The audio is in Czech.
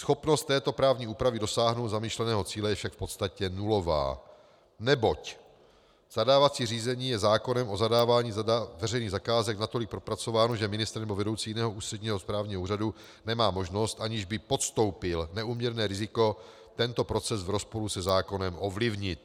schopnost této právní úpravy dosáhnout zamýšleného cíle je však v podstatě nulová, neboť zadávací řízení je zákonem o zadávání veřejných zakázek natolik propracováno, že ministr nebo vedoucí jiného ústředního správního úřadu nemá možnost, aniž by podstoupil neúměrné riziko, tento proces v rozporu se zákonem ovlivnit;